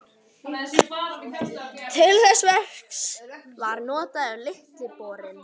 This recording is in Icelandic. Til þess verks var notaður Litli borinn.